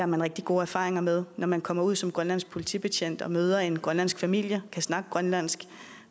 man rigtig gode erfaringer med når man kommer ud som grønlandsk politibetjent og møder en grønlandsk familie kan snakke grønlandsk